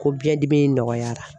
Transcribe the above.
Ko biɲɛdimi nɔgɔyara.